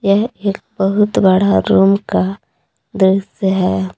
यह एक बहुत बड़ा रूम का दृश्य है।